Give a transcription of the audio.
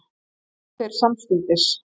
Létust þeir samstundis